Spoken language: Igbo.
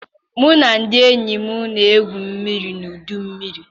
Mụ na ndị enyi m na-egwu mmiri na ọdọ mmiri.